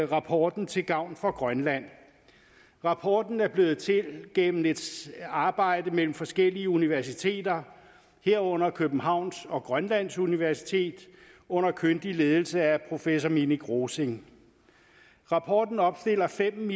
rapporten til gavn for grønland rapporten er blevet til gennem et arbejde mellem forskellige universiteter herunder københavns universitet og grønlands universitet under kyndig ledelse af professor minik rosing rapporten opstiller fem